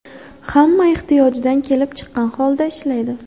Hamma ehtiyojidan kelib chiqqan holda ishlaydi”.